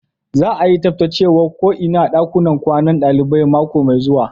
Za'a yi tsabtacewan ko inan dakunan kwanan dalibai mako mai zuwa.